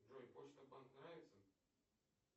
джой почта банк нравится